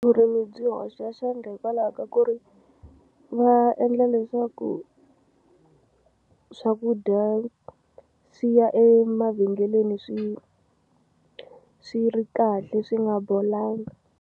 Vurimi byi hoxa xandla hikwalaho ka ku ri va endla leswaku swakudya swi ya emavhengeleni swi swi ri kahle swi nga bolangi.